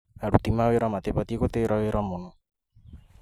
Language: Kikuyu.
Aruti a wĩra matibatiĩ gũtĩra wĩra mũno